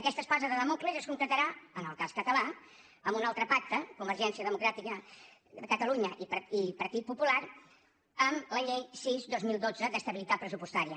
aquesta espasa de dàmocles es concretarà en el cas català amb un altre pacte de convergència democràtica de catalunya i partit popular amb la llei sis dos mil dotze d’estabilitat pressupostària